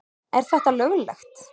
Er þetta löglegt?